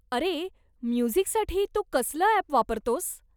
अरे, म्युझिकसाठी तू कसलं अॅप वापरतोस?